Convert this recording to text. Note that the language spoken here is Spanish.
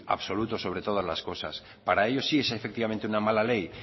absoluto sobre todas las cosas para ellos sí es efectivamente una mala ley